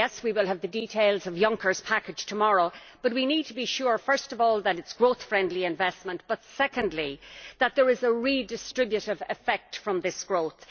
Yes, we will have the details of Juncker's package tomorrow, but we need to be sure first of all that it is growth friendly investment, and secondly that there is a redistributive effect from this growth.